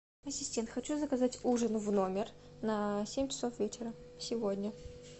ассистент хочу заказать ужин в номер на семь часов вечера сегодня